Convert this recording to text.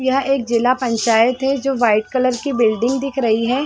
यह एक जिल्ला पंचायत है जो वाइट कलर की ब्लीडिंग दिख रही है।